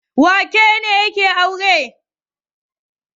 Wane ne yake aure?